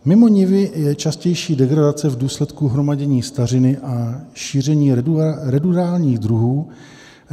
Mimo nivy je častější degradace v důsledku hromadění stařiny a šíření ruderálních druhů.